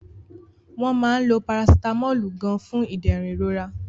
Wọ́n máa ń lo Parasitamọ́ọ̀lù gan-an fún ìdẹ̀rùn ìrora